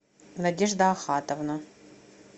надежда ахатовна